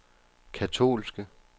katolske